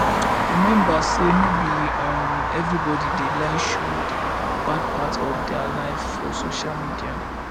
remember sey no be um everybody dey like show the bad part of their life for social media